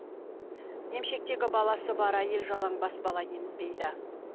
емшектегі баласы бар әйел жалаңбас бала емізбейді